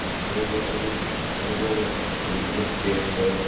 из твоего города люди с по-любому как бы ну как я считаю